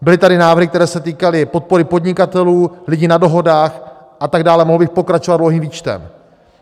Byly tady návrhy, které se týkaly podpory podnikatelů, lidí na dohodách a tak dále, mohl bych pokračovat dlouhým výčtem.